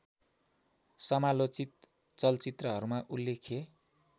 समालोचित चलचित्रहरूमा उल्लेख्य